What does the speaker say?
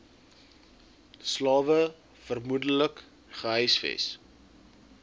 slawe vermoedelik gehuisves